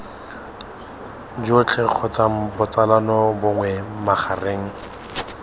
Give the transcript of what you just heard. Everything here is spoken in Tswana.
jotlhe kgotsa botsalano bongwe magareng